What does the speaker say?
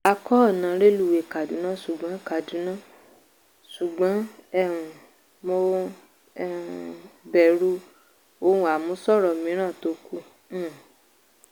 a kọ́ ọ̀nà rélùwéè kaduna ṣùgbọ́n kaduna ṣùgbọ́n um mo um bẹ̀rù ohun àmúṣọrọ̀ míìran tó kú. um